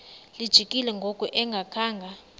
lijikile ngoku engakhanga